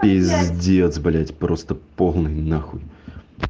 пиздец блять просто полный нахуй